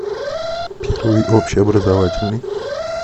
первый общеобразовательный